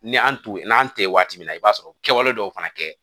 Ni an t'o n'an tɛ waati min na i b'a sɔrɔ o kɛwale dɔw fana kɛ